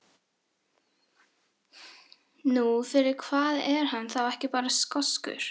Nú, fyrir hvað er hann þá ekki bara skoskur?